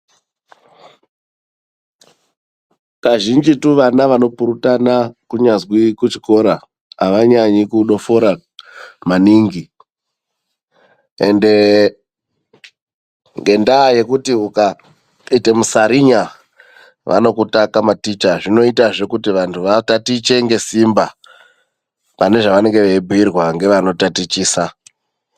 Kazhinjitu vana vanopurutana kunyazwi kuchikora avanyanyi kudofora maningi ende ngendaya yekuti ukaita musarinya vanokutaka maticha, zvinoitazve kuti vanhu vatatiche ngesimba pane zvaanenge eibhuirwa ngeanotatichisa. .